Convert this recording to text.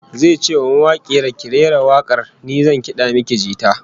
Zai ce wa mawakiyar, "Ki rera wak'ar, ni zan kad'a miki jita".